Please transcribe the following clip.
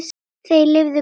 Þeir lifðu góða tíma.